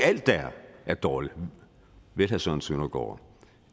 alt der er dårligt vel herre søren søndergaard